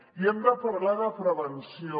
i hem de parlar de prevenció